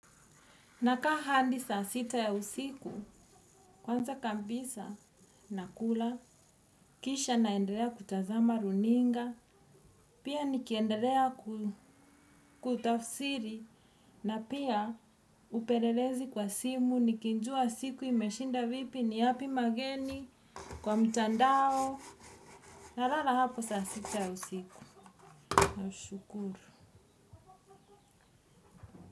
Nakaa hadi saa sita ya usiku, kwanza kabisa, nakula, kisha naendelea kutazama runinga, pia nikiendelea kutafsiri na pia upelelezi kwa simu nikijua siku imeshinda vipi ni yapi mageni kwa mtandao nalala hapo saa sita ya usiku nashukuru.